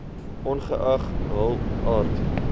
ongeag hul aard